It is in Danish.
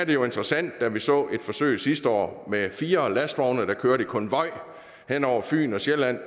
jo interessant da vi så et forsøg sidste år med fire lastvogne der kørte i konvoj hen over fyn og sjælland